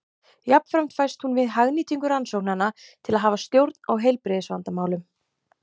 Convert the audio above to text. Jafnframt fæst hún við hagnýtingu rannsóknanna til að hafa stjórn á heilbrigðisvandamálum.